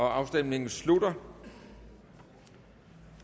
afstemningen slutter